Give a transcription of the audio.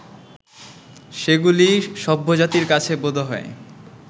সেগুলি সভ্যজাতির কাছে বোধহয়